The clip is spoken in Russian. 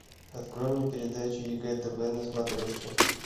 открой мне передачи егэ тв на смотрешке